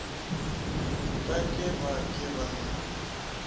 ka ke be ke na